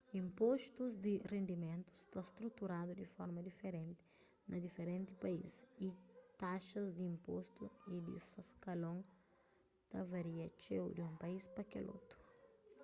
inpostu di rendimentu sta struturadu di forma diferenti na diferenti país y taxas di inpostu y di skalon ta varia txeu di un país pa kel otu